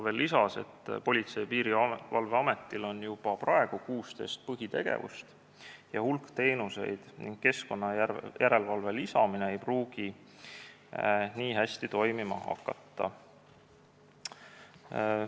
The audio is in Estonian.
Veel lisas ta, et Politsei- ja Piirivalveametil on juba praegu 16 põhitegevust ja hulk teenuseid ning keskkonnajärelevalve ei pruugi seal nii hästi toimima hakata.